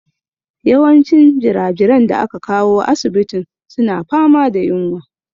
Yawancin jirajiran da aka kawo asibitin suna fama da yunwa.